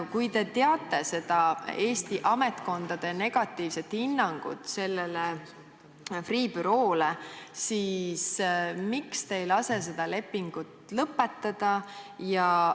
Kui te teate Eesti ametkondade negatiivset hinnangut sellele Freeh' büroole, siis miks te ei lase seda lepingut lõpetada?